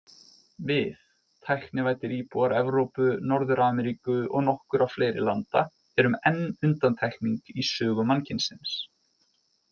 Við, tæknivæddir íbúar Evrópu, Norður-Ameríku og nokkurra fleiri landa, erum enn undantekning í sögu mannkynsins.